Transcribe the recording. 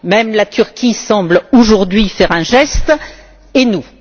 Même la Turquie semble aujourd'hui faire un geste, et nous?